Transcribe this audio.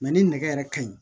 ni nɛgɛ yɛrɛ ka ɲi